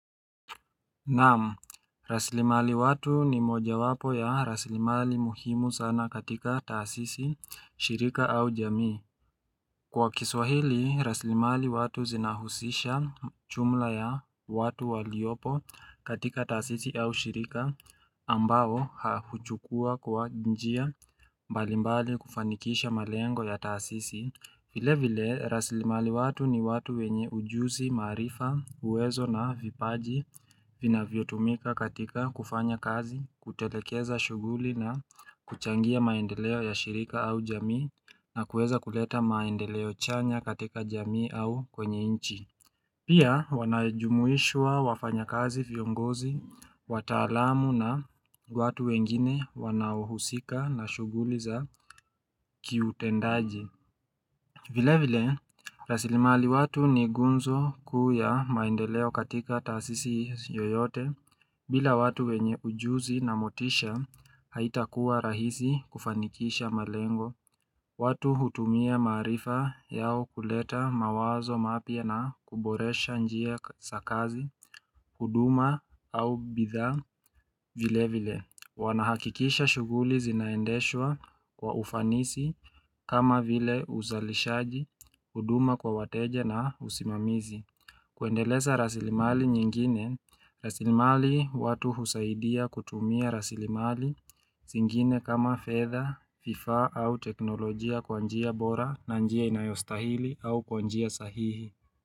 Naam, raslimali watu ni moja wapo ya raslimali muhimu sana katika taasisi, shirika au jamii Kwa kiswahili, raslimali watu zinahusisha jumla ya watu waliopo katika taasisi au shirika ambao huchukua kwa njia mbalimbali kufanikisha malengo ya taasisi vile vile, raslimali watu ni watu wenye ujuzi, marifa, uwezo na vipaji vinavyotumika katika kufanya kazi, kutelekeza shughuli na kuchangia maendeleo ya shirika au jamii na kueza kuleta maendeleo chanya katika jamii au kwenye inchi. Pia, wanajumuishwa wafanya kazi viongozi, wataalamu na watu wengine wanahuhusika na shughuli za kiutendaji. Vile vile, rasilimali watu ni gunzo kuu ya maendeleo katika taasisi yoyote bila watu wenye ujuzi na motisha haitakuwa rahisi kufanikisha malengo. Watu hutumia maarifa yao kuleta mawazo mapya na kuboresha njia za kazi, huduma au bidhaa vile vile. Wanahakikisha shughuli zinaendeshwa kwa ufanisi kama vile uzalishaji, huduma kwa wateja na usimamizi. Kuendeleza rasilimali nyingine, rasilimali watu husaidia kutumia rasilimali zingine kama fedha, vifaa au teknolojia kwa njia bora na njia inayostahili au kwa njia sahihi.